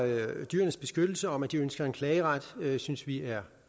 dyrenes beskyttelse om at de ønsker en klageret synes vi er